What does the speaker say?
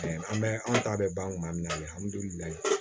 An bɛ an ta bɛ ban kuma min na alihamudulilayi